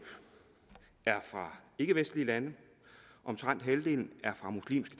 er fra ikkevestlige lande omtrent halvdelen